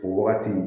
O wagati